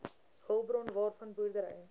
hulpbron waarvan boerdery